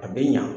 A bɛ ɲa